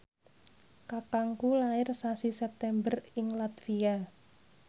kakangku lair sasi September ing latvia